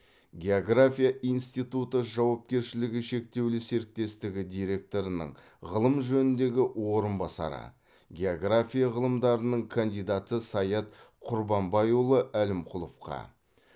география институты жауапкершілігі шектеулі серіктестігі директорының ғылым жөніндегі орынбасары география ғылымдарының кандидаты саят құрбанбайұлы әлімқұловқа